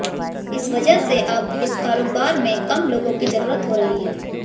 इस वजह से अब इस कारोबार में कम लोगों की जरूरत हो रही है